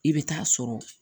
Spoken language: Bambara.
I bɛ taa sɔrɔ